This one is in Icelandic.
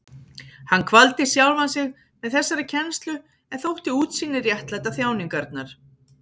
Hann kvaldi sjálfan sig með þessari kennslu en þótti útsýnið réttlæta þjáningarnar.